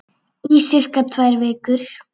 Í sirka tvær vikur.